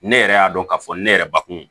Ne yɛrɛ y'a dɔn k'a fɔ ne yɛrɛ bakun